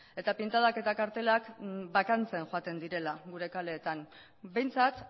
eta pintadak eta kartelak bakantzen joaten direla gure kaleetan behintzat